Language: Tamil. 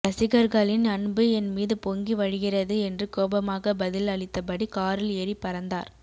ரசிகர்களின் அன்பு என் மீது பொங்கி வழிகிறது என்று கோபமாக பதில் அளித்தபடி காரில் ஏறி பறந்தார்